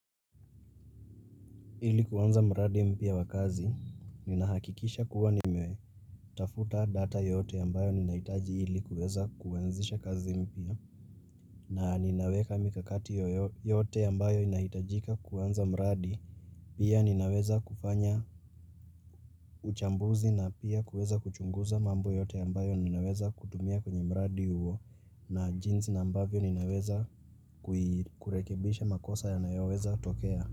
Ili kuanza mradi mpya wa kazi, ninahakikisha kuwa nimetafuta data yoyote ambayo ninahitaji ili kuwaza kianzisha kazi mpya, na ninaweka mikakati yote ambayo inahitajika kuanza mradi, pia ninaweza kufanya uchambuzi na pia kuweza kuchunguza mambo yote ambayo ninaweza kutumia kwenye muradi huwo na jinsi na mbavyo ninaweza kurekebisha makosa ya niyoweza tokea.